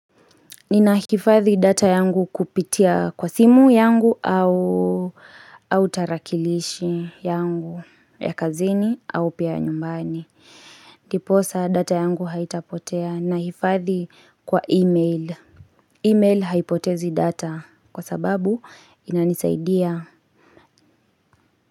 Ninahifadhi data yangu kupitia kwa simu yangu au tarakilishi yangu ya kazini au pia nyumbani. Diposa data yangu haitapotea na hifadhi kwa email. Email haipotezi data kwa sababu inanisaidia.